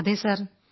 അതെ സർ